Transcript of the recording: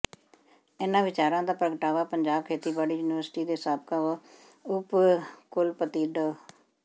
ਇਨ੍ਹਾਂ ਵਿਚਾਰਾਂ ਦਾ ਪ੍ਰਗਟਾਵਾ ਪੰਜਾਬ ਖੇਤੀਬਾੜੀ ਯੂਨੀਵਰਸਿਟੀ ਦੇ ਸਾਬਕਾ ਉਪ ਕੁਲਪਤੀ ਡਾ